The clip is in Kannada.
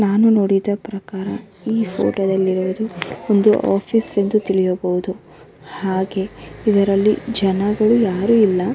ನಾನು ನೋಡಿದ ಪ್ರಕಾರ ಈ ಫೊಟೋದಲ್ಲಿ ಇರುವುದು ಒಂದು ಓಫೀಸ್ ಎಂದು ತಿಳಿಯಬಹುದು ಹಾಗೆ ಇದರಲ್ಲಿ ಜನಗಳು ಯಾರು ಇಲ್ಲ.